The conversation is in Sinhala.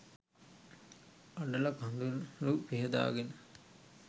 අඬල කඳුළු පිහ දාගෙන